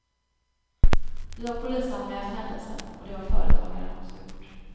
Vi har polisanmält händelsen, och det har företagaren också gjort.